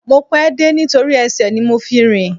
Mo pẹ́ dé nítorí ẹsẹ̀ ni mo fi rìn